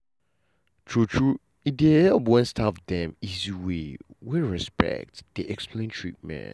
true true e dey help when staff dem easy way wey respect dey explain treatment.